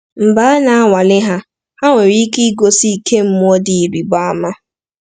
Mgbe a na-anwale ha, ha nwere ike igosi ike mmụọ dị ịrịba ama.